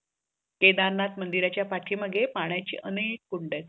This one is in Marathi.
केदारनाथ मंदिरच पाठीमागे अनेक कुंड आहेत.